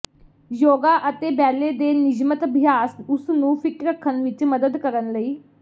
ਯੋਗਾ ਅਤੇ ਬੈਲੇ ਦੇ ਨਿਯਮਤ ਅਭਿਆਸ ਉਸ ਨੂੰ ਫਿੱਟ ਰੱਖਣ ਵਿੱਚ ਮਦਦ ਕਰਨ ਲਈ